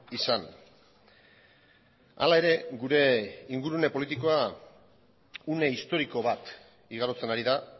izan hala ere gure ingurune politikoa une historiko bat igarotzen ari da